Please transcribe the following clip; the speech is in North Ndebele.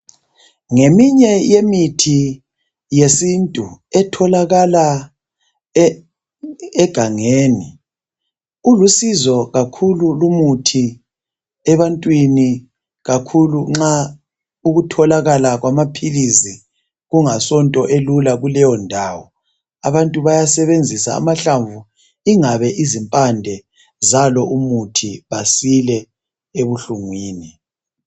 Ngeminye yemithi yesintu etholakala egangeni ulusizo kakhulu lumuthi ebantwini kakhulu nxa ukutholakala kwamaphilisi kungasonto elula kuleyo ndawo. Abantu baya sebenzisa amahlamvu ingabe izimpande zalo umuthi basile ebuhlungwini.